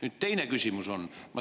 Nüüd, teiseks, ma siiski korrigeerin.